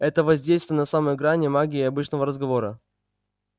это воздействие на самой грани магии и обычного разговора